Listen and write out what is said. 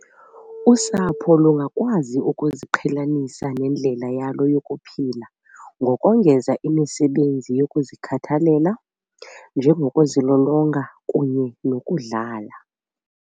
Usapho lungakwazi ukuziqhelanisa nendlela yalo yokuphila ngokongeza imisebenzi yokuzikhathalela, njengokuzilolonga kunye nokudlala.